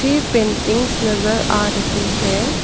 ये पेंटिंग्स नजर आ रही है।